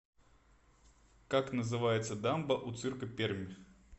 как называется дамба у цирка пермь